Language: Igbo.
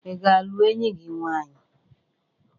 Ị ga-alụ enyi gị nwanyị?